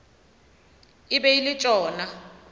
e be e le tšona